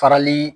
Farali